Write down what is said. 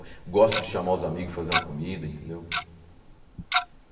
Gosto de chamar os amigos e fazer uma comida, entendeu?